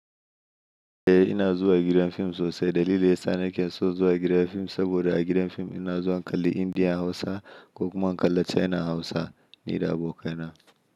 Eh ina zuwa gidan fim sosai. Dalilin da yasa nake son zuwa gidan fim saboda a gidan fim ina zuwa in kalli Indian Hausa ko kuma in kalli Chinan Hausa ni da abokaina.